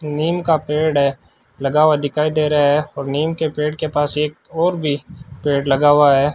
नीम का पेड़ है लगा हुआ दिखाई दे रहा है और नीम के पेड़ के पास एक और भी पेड़ लगा हुआ है।